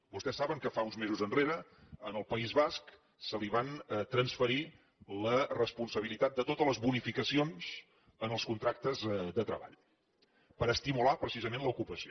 vostès saben que fa uns mesos enrere en el país basc se li va transferir la responsabilitat de totes les bonificacions en els contractes de treball per estimular precisament l’ocupació